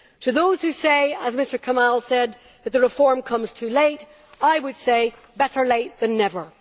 To those who say, as Mr Kamall said, that the reform comes too late, I would say better late than never.